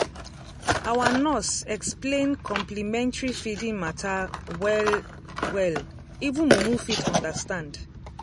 our nurse explain complementary feeding matter well-well even mumu fit understand.